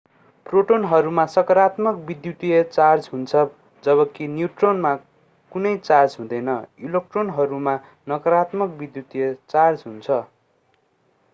प्रोटोनहरूमा सकारात्मक विद्युतीय चार्ज हुन्छ जबकि न्यूट्रोनहरूमा कुनै चार्ज हुँदैन इलेक्ट्रोनहरूमा नकारात्मक विद्युतीय चार्ज हुन्छ